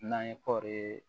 N'an ye kɔɔri